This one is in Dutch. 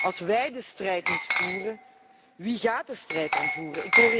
Als wij de strijd niet voeren, wie gaat de strijd dan voeren?